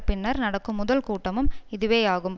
பின்னர் நடக்கும் முதல் கூட்டமும் இதுவேயாகும்